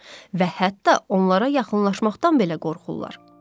Və hətta onlara yaxınlaşmaqdan belə qorxurlar.